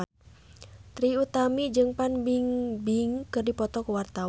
Trie Utami jeung Fan Bingbing keur dipoto ku wartawan